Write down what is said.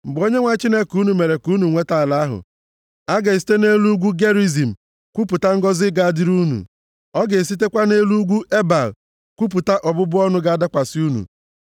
Mgbe Onyenwe anyị Chineke unu mere ka unu nweta ala ahụ, a ga-esite nʼelu ugwu Gerizim kwupụta ngọzị ga-adịrị unu, a ga-esitekwa nʼelu ugwu Ebal kwupụta ọbụbụ ọnụ ga-adakwasị unu.